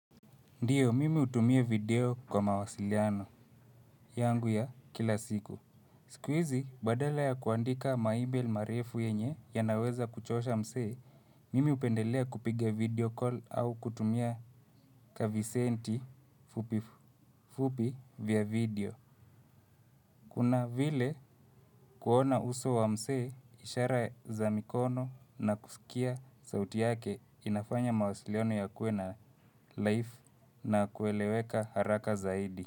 Ndiyo, mimi utumia video kwa mawasiliano, yangu ya kila siku. Sikuizi, badala ya kuandika maibel marefu yenye ya naweza kuchosha msee, mimi upendelea kupiga video call au kutumia kavi senti fupi fupi vya video. Kuna vile kuona uso wa msee, ishara za mikono na kusikia sauti yake inafanya mawasiliano ya kue na life na kueleweka haraka zaidi.